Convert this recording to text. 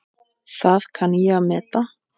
Það kann ég að meta.